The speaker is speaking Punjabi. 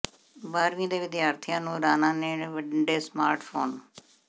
ਬਾਰ੍ਹਵੀਂ ਦੇ ਵਿਦਿਆਰਥੀਆਂ ਨੂੰ ਰਾਣਾ ਨੇ ਵੰਡੇ ਸਮਾਰਟ ਫੋਨ